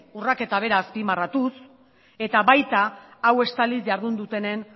urraketa bera azpimarratuz eta baita hau estaliz jardun dutenen